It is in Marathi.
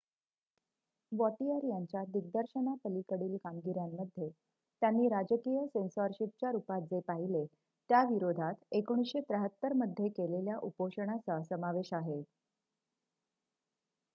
वॉटिअर यांच्या दिग्दर्शनापलीकडील कामगिऱ्यांमध्ये त्यांनी राजकीय सेन्सॉरशिपच्या रुपात जे पाहिले त्याविरोधात १९७३ मध्ये केलेल्या उपोषणाचा समावेश आहे